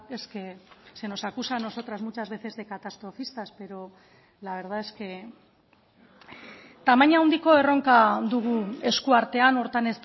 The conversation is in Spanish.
es que se nos acusa a nosotras muchas veces de catastrofistas pero la verdad es que tamaina handiko erronka dugu esku artean horretan